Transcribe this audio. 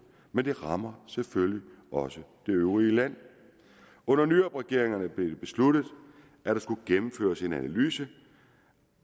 men det rammer selvfølgelig også det øvrige land under nyrupregeringerne blev det besluttet at der skulle gennemføres en analyse